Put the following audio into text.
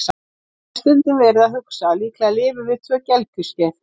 Ég hef stundum verið að hugsa að líklega lifum við tvö gelgjuskeið.